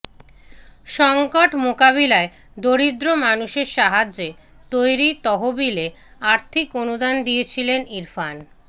সঙ্কট মোকাবিলায় দরিদ্র মানুষের সাহায্যে তৈরি তহবিলে আর্থিক অনুদান দিয়েছিলেন ইরফান